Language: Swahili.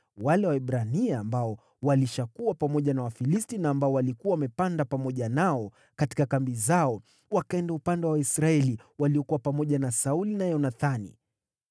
Wale Waebrania ambao walishakuwa pamoja na Wafilisti, na waliokuwa wamepanda pamoja nao katika kambi zao, wakaenda upande wa Waisraeli waliokuwa pamoja na Sauli na Yonathani.